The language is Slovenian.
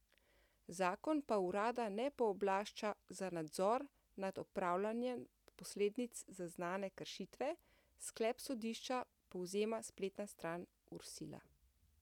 Zakon pa urada ne pooblašča za nadzor nad odpravljanjem posledic zaznane kršitve, sklep sodišča povzema spletna stran Ursila.